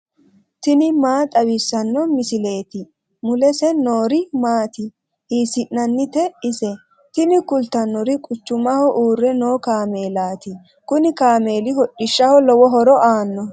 tini maa xawissanno misileeti ? mulese noori maati ? hiissinannite ise ? tini kultannori quchumaho uurre noo kaameelaati kuni kaameeli hodhishshaho lowo horo aannoho.